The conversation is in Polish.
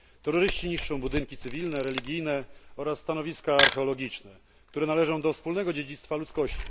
Terroryści niszczą budynki cywilne, religijne oraz stanowiska archeologiczne, które należą do wspólnego dziedzictwa ludzkości.